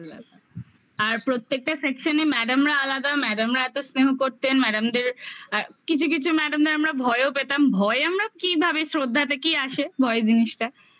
আর প্রত্যেকটা section এ madam রা আলাদা madam রা এত স্নেহ করতেন madam দের